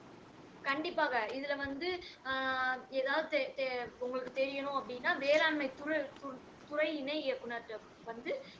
கண்டிப்பாக இதுல வந்து ஆஹ் எதாவது தெ தெ உங்களுக்கு தெரியனும் அப்படின்னா வேளாண்மை துறை துறை இணை இயக்குனர் கிட்ட வந்து